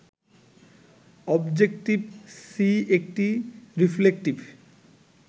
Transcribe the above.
objective C একটি reflective